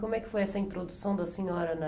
Como é que foi essa introdução da senhora na...